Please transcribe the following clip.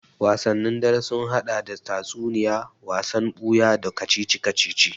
Wasanni dare sun haɗa da tatsuniya, wasan buya, da kacici-kacici